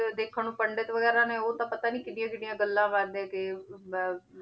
ਤੇ ਦੇਖਣ ਨੂੰ ਪੰਡਿਤ ਵਗ਼ੈਰਾ ਨੇ ਉਹ ਤਾਂ ਪਤਾ ਨੀ ਕਿੱਡੀਆਂ ਕਿੱਡੀਆਂ ਗੱਲਾਂ ਕਰਦੇ ਕਿ ਬ~